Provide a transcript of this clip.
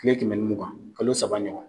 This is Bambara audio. Kile kɛmɛ ni mugan. Kalo saba ɲɔgɔn.